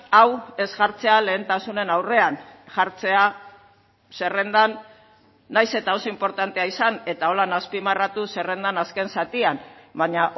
hau ez jartzea lehentasunen aurrean jartzea zerrendan nahiz eta oso inportantea izan eta horrela azpimarratu zerrendan azken zatian baina